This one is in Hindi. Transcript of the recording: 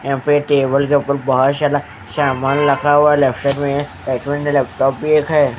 यहाँ पे टेबल के ऊपल बहुत सारा शामान रखा हुआ है लेफ्ट साइड में एचमेन का एक लैपटॉप भी एक है।